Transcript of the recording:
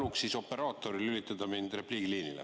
Paluks siis operaatoril lülitada mind repliigiliinile.